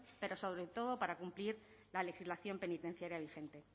pero sobre todo para cumplir la legislación penitenciaria vigente